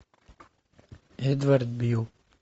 эдвард бил